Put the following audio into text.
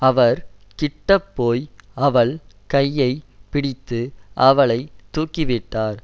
அவர் கிட்டப்போய் அவள் கையை பிடித்து அவளை தூக்கிவிட்டார்